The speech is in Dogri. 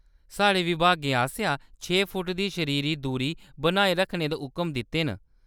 साढ़े विभागें असेंगी छे फुट्ट दी शरीरी दूरी बनाई रक्खने दे हुकम दित्ते न।